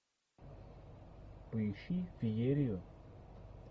поищи феерию